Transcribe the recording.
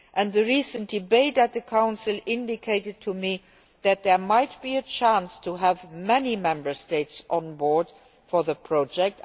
The recent debate in the Council indicated to me that there might be a chance to have many Member States on board for the project.